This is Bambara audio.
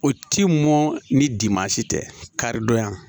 O ti mɔn ni dimansi tɛ kari donya